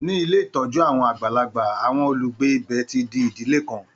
Ní ilé ìtọ́jú àwọn àgbàlagbà, àwọn olùgbé ibẹ̀ ti di ìdílé kan.